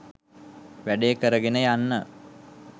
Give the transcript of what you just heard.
වැඩේ කරගෙන යන්න.